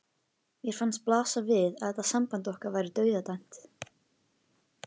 Mér fannst blasa við að þetta samband okkar væri dauðadæmt.